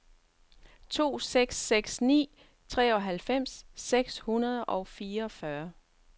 seks to seks ni treoghalvfems seks hundrede og fireogfyrre